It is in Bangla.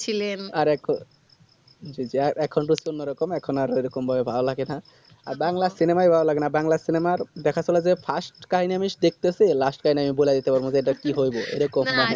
ছিলেন আর এখন জি জি আর এখন তো অন্য রকম এখন আর সেইরকম ভাবে ভালো লাগেনা আর বাংলা cinema ও ভালো লাগেনা বাংলা cinema র দেখা শোনা যে first কাহিনী আমি দেখতেসি last কাহিনী আমি বলে দিতে পারবো যে এটা কি হয়েছে এই রকম